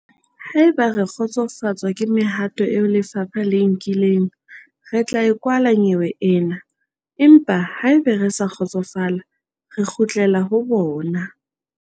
"Haeba re kgotsofatswa ke mehato eo lefapha le e nkileng, re tla e kwala nyewe ena, empa haeba re sa kgotsofala, re kgutlela ho bona."